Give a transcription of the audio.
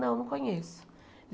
Não, não conheço.